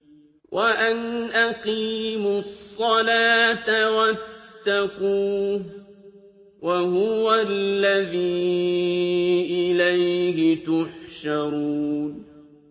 وَأَنْ أَقِيمُوا الصَّلَاةَ وَاتَّقُوهُ ۚ وَهُوَ الَّذِي إِلَيْهِ تُحْشَرُونَ